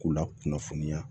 K'u la kunnafoniya